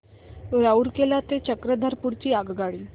रूरकेला ते चक्रधरपुर ची आगगाडी